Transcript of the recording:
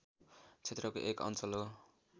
क्षेत्रको एक अञ्चल हो